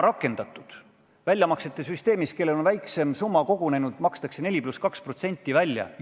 Selle 4 ja 2% kohta esitatud küsimustega on ju infotundides ministreid ikka pommitatud.